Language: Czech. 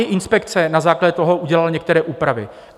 I inspekce na základě toho udělala některé úpravy.